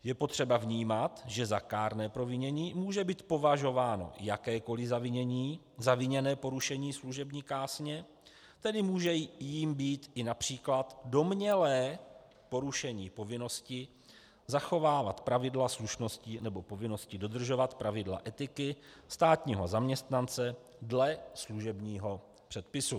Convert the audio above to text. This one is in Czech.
Je potřeba vnímat, že za kárné provinění může být považováno jakékoli zaviněné porušení služební kázně, tedy může jím být i například domnělé porušení povinnosti zachovávat pravidla slušnosti nebo povinnosti dodržovat pravidla etiky státního zaměstnance dle služebního předpisu.